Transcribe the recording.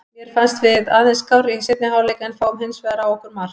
Mér fannst við aðeins skárri í seinni hálfleik en fáum hinsvegar á okkur mark.